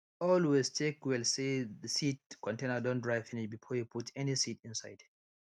always check well say the seed container don dry finish before you put any seed inside